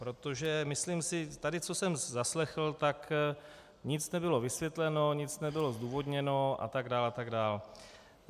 Protože, myslím si - tady co jsem zaslechl, tak nic nebylo vysvětleno, nic nebylo zdůvodněno a tak dále a tak dále.